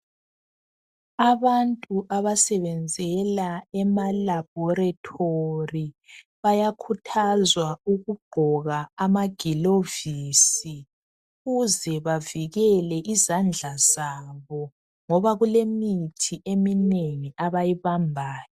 Abantu abasebenzela ema laboratory bayakhuthazwa ukugqoka amagilovisi ukuze bavikele izandla zabo ngoba kulemithi eminengi abayibambayo.